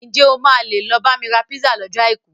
Ǹ jẹ́ o máa lè lọ bá mi ra písà lọ́jọ́ Àìkú?